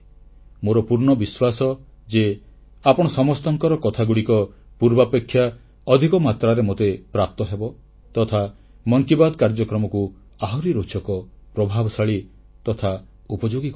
ମୋର ପୂର୍ଣ୍ଣ ବିଶ୍ୱାସ ଯେ ଆପଣ ସମସ୍ତଙ୍କର କଥାଗୁଡ଼ିକ ପୂର୍ବାପେକ୍ଷା ଅଧିକ ମାତ୍ରାରେ ମୋତେ ପ୍ରାପ୍ତ ହେବ ତଥା ମନ କି ବାତ୍ କାର୍ଯ୍ୟକ୍ରମକୁ ଆହୁରି ରୋଚକ ପ୍ରଭାବଶାଳୀ ତଥା ଉପଯୋଗୀ କରିବ